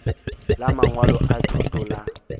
la mangwalo a thuto la